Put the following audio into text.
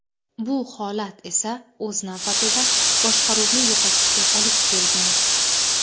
Bu holat esa o‘z navbatida boshqaruvni yo‘qotishga olib kelgan.